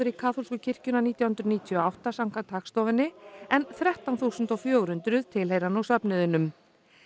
í kaþólsku kirkjuna nítján hundruð níutíu og átta samkvæmt Hagstofunni en þrettán þúsund fjögur hundruð tilheyra nú söfnuðinum